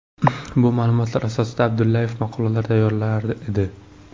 Bu ma’lumotlar asosida Abdullayev maqolalar tayyorlar edi.